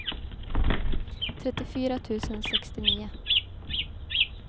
trettiofyra tusen sextionio